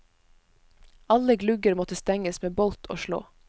Alle glugger måtte stenges med bolt og slå.